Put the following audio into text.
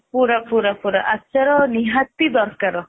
ଆଚାର ନିହାତି ଦରକାର